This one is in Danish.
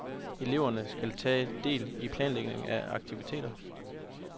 Eleverne skal tage del i planlægningen af aktiviteter.